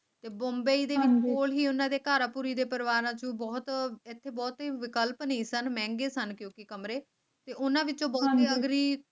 ਤੇ ਬੰਬਈ ਦੀ ਮਨਜ਼ੂਰੀ ਉਹਨਾ ਦੇ ਘਰ ਕੁੜੀ ਦੇ ਪਰਿਵਾਰ ਨੂੰ ਬਹੁਤ ਬਹੁਤ ਹੀ ਮਹਿੰਗੇ ਸਨ ਕਿਉਂਕਿ ਉਨ੍ਹਾਂ ਵਿੱਚ